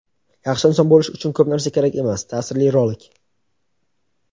Yaxshi inson bo‘lish uchun ko‘p narsa kerak emas – ta’sirli rolik!.